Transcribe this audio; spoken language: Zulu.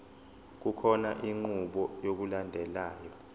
kukhona inqubo yokulandelayo